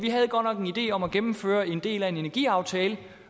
idé om at gennemføre en del af en energiaftale